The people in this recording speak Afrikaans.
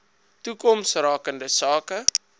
toekoms rakende sake